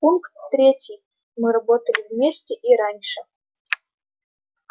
пункт третий мы работали вместе и раньше